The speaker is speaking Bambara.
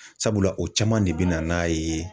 Sabula o caman de bɛ na n'a ye.